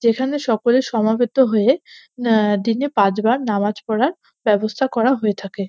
যেখানে সকলে সমাবেত হয়ে আহ দিনে পাঁচবার নামাজ পড়ার ব্যবস্থা করা হয়ে থাকে।